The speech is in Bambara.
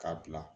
K'a bila